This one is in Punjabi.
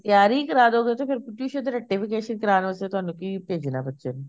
ਤਿਆਰੀ ਕਰਵਾਦੋਗੇ ਤੇ ਫੇਰ tuition ਤੇ ਰੱਟੇ fixation ਕਰਵਾਣ ਵਾਸਤੇ ਤੁਹਾਨੂੰ ਕਿ ਭੇਜਣਾ ਬੱਚੇ ਨੂੰ